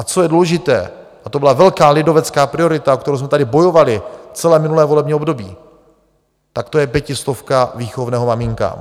A co je důležité, a to byla velká lidovecká priorita, o kterou jsme tady bojovali celé minulé volební období, tak to je pětistovka výchovného maminkám.